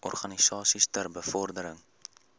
organisasies ter bevordering